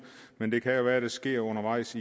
men det kan jo være det sker undervejs